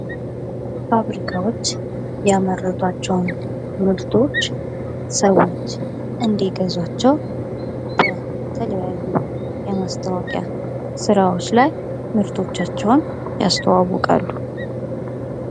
ፋብሪካዎች ያመረቷቸውን ምርቶች ሰዎች እንዲገዛቸው በተለያዩ የማስታወቂያ ስራዎች ላይ ምርቶቻቸውን ያስተዋወቃሉ።